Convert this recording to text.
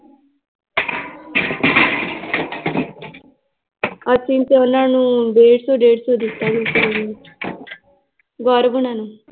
ਅਸੀਂ ਵਿਚੋਲਣ ਨੂੰ ਡੇਢ ਸੌ ਡੇਢ ਸੌ ਦਿੱਤਾ ਸੀ ਗੌਰਵ ਹੋਣਾ ਨੂੰ l